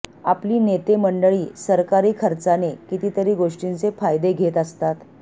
आपली नेते मंडळीसरकारी खर्चाने कितीतरी गोष्टींचे फायदे घेत असतात